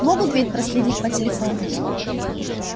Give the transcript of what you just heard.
могут ведь проследить по телефону